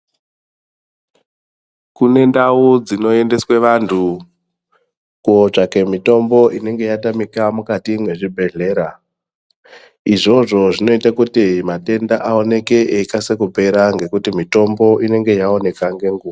Kune ndau dzinoendeswe vantu kotsvake mitombo inonga yatamika mukati mwezvibhedhlera. Izvozvo zvinoite kuti matenda aoneke eikasike kupera ngekuti mitombo inenge yaoneka ngenguva.